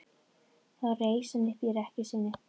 Þá reis hann upp í rekkju sinni.